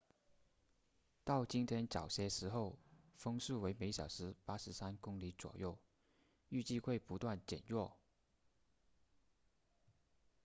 到今天早些时候风速为每小时83公里左右预计会不断减弱